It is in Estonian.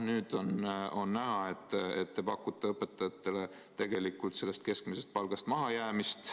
Nüüd on näha, et te pakute õpetajatele tegelikult sellest keskmisest palgast mahajäämist.